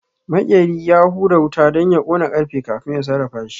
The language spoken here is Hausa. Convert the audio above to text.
Maƙeri ya hura wuta don ya ƙona ƙarfe kafin ya sarrafashi